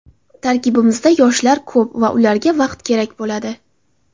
Tarkibimizda yoshlar ko‘p va ularga vaqt kerak bo‘ladi.